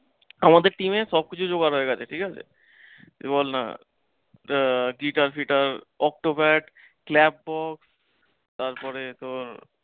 আমাদের team এ সবকিছু জোগাড় হয়ে গেছে ঠিকাছে। কেবল আহ guitar ফিতার, octopad, তারপরে তোর